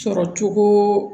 Sɔrɔcogo